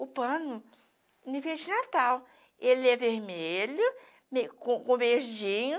O pano, enfeite de natal, ele é vermelho, com verdinho.